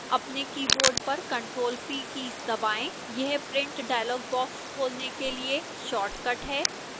अपने keyboard पर ctrl + p keys दबाएं यह print डायलॉग बॉक्स खोलने के लिए शार्टकट है